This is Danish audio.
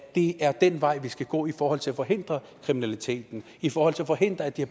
det er den vej vi skal gå i forhold til at forhindre kriminaliteten og i forhold til at forhindre at de